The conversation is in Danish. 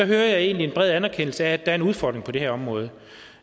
jeg egentlig en bred anerkendelse af at er en udfordring på det her område